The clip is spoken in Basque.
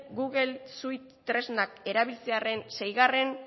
google suite tresnak erabiltzearen seigarren